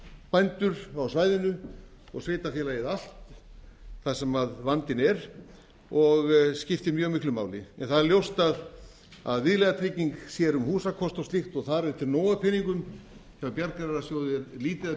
bændur á svæðinu og sveitarfélagið allt þar sem vandinn er og skiptir mjög miklu máli það er ljóst að viðlagatrygging sér um húsakost og slíkt og þar er til nóg af peningum hjá bjargráðasjóði er lítið af